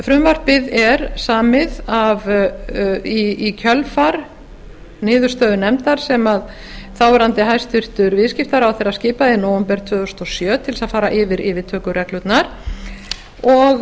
frumvarpið er samið í kjölfar niðurstöðu nefndar sem þáv hæstvirtur viðskiptaráðherra skipaði í nóvember tvö þúsund og sjö til þess að fara yfir yfirtökureglurnar og